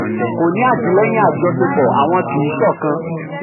27. kò ní àtìlẹ́yìn um àjọṣepọ̀ àwọn kì um í ṣọkan.